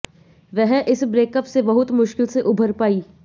वह इस ब्रेकअप से बहुत मुश्किल से उभर पाईं